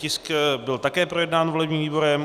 Tisk byl také projednán volebním výborem.